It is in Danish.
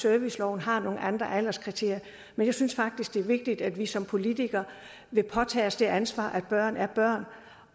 serviceloven har nogle andre alderskriterier men jeg synes faktisk det er vigtigt at vi som politikere vil påtage os det ansvar at børn er børn